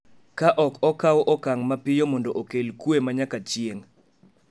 ka ok okaw okang’ mapiyo mondo okel kuwe ma nyaka chieng’.